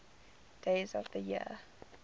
days of the year